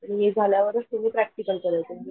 मी झाल्या वरच तुम्ही प्रॅक्टिकल करायचं